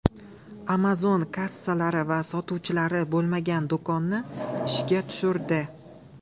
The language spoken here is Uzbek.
Amazon kassalari va sotuvchilari bo‘lmagan do‘konni ishga tushirdi.